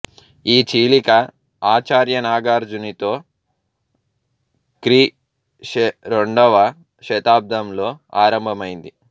ఈ చీలిక ఆచార్య నాగార్జునితో క్రీ శ రెండవ శతాబ్దంలో ఆరంభమైంది